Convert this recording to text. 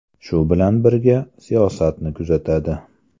Shu bilan birga, siyosatni kuzatadi.